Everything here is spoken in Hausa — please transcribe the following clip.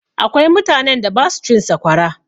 Akwai mutanen da ba su cin sakwara.